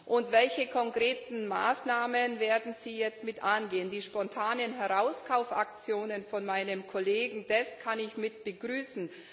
Und welche konkreten Maßnahmen werden Sie jetzt angehen? Die spontanen Herauskaufaktionen meines Kollegen Deß kann ich begrüßen.